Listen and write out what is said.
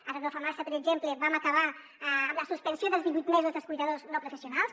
ara no fa massa per exemple vam acabar amb la suspensió dels divuit mesos dels cuidadors no professionals